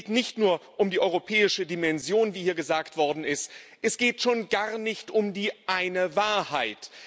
Es geht nicht nur um die europäische Dimension, wie hier gesagt worden ist, es geht schon gar nicht um die eine Wahrheit.